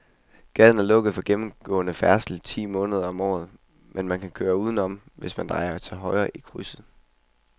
Gaden er lukket for gennemgående færdsel ti måneder om året, men man kan køre udenom, hvis man drejer til højre i krydset.